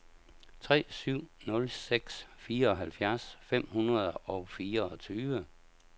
tre syv nul seks fireoghalvfjerds fem hundrede og fireogtyve